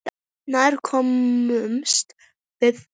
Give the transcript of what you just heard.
Nær komumst við ekki.